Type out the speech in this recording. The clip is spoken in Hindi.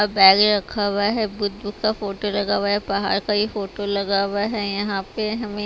बैग रखा हुआ है बुद्ध का फोटो लगा हुआ है पहाड़ का ही फोटो लगा हुआ है यहां पे हमें --